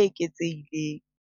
eketsehileng.